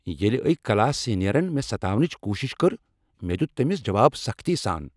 ییلِہ أکۍ کلاس سینیرن مےٚ ستاونٕچ کوشش کٔر مےٚ دِیُت تٔمس جواب سختی سان۔